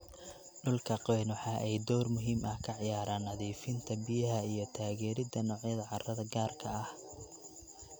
Dhulka qoyan waxa ay door muhiim ah ka ciyaaraan nadiifinta biyaha iyo taageeridda noocyada carrada gaarka ah.